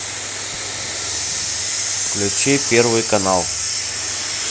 включи первый канал